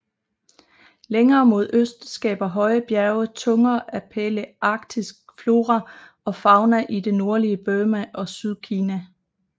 Længere mod øst skaber høje bjerge tunger af palæarktisk flora og fauna i det nordlige Burma og Sydkina